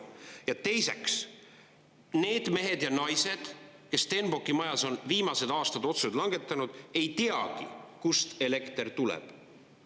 Ja teiseks, need mehed ja naised, kes Stenbocki majas on viimased aastad otsuseid langetanud, ei teagi, kust elekter tuleb.